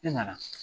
E nana